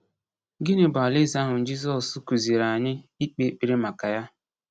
Gịnị bụ Alaeze ahụ Jizọs kụziiri anyị ikpe ekpere maka ya?